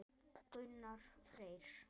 Gunnar Freyr.